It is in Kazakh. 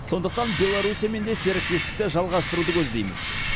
сондықтан беларусиямен де серіктестікті жалғастыруды көздейміз